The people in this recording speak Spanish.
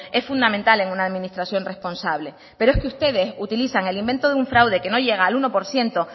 es fundamental en una administración responsable pero es que ustedes utilizan el invento de un fraude que no llega al uno por ciento